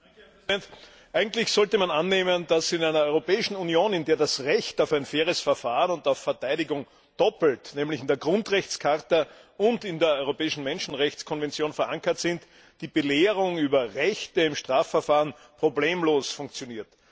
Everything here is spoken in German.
Herr Präsident! Eigentlich sollte man annehmen, dass in einer Europäischen Union, in der das Recht auf ein faires Verfahren und auf Verteidigung doppelt nämlich in der Grundrechtecharta und in der Europäischen Menschenrechtskonvention verankert ist, die Belehrung über Rechte im Strafverfahren problemlos funktioniert.